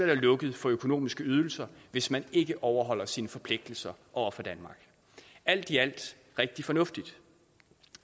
der lukket for økonomiske ydelser hvis man ikke overholder sine forpligtelser over for danmark alt i alt rigtig fornuftigt